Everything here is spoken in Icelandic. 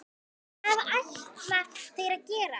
Hvað ætla þeir að gera?